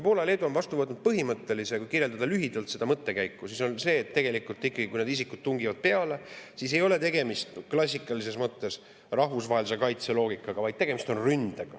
Poola ja Leedu on vastu võtnud põhimõttelise otsuse – püüan lühidalt seda mõttekäiku –, et tegelikult ikkagi, kui need isikud tungivad peale, siis ei ole tegemist klassikalises mõttes rahvusvahelise kaitse loogikaga, vaid tegemist on ründega.